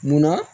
Munna